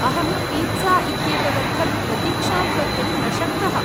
अहं पीत्ज़ा इत्येतदर्थं प्रतीक्षांकर्तुं न शक्तः।